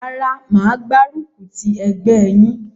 Rárá mà á gbárùkù ti ẹgbẹ́ yín.